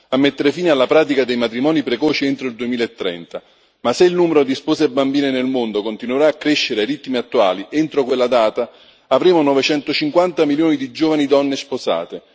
a mettere fine alla pratica dei matrimoni precoci entro il 2030 ma se il numero di spose bambine nel mondo continuerà a crescere ai ritmi attuali, entro quella data avremo 950 milioni di giovani donne sposate.